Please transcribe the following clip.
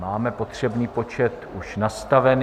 Máme potřebný počet už nastavený.